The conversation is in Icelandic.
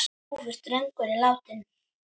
Ljúfur drengur er látinn.